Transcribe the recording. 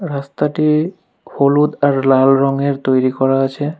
রাস্তাটি হলুদ আর লাল রংয়ের তৈরি করা আছে।